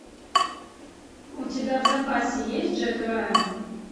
у тебя в запасе есть джек райан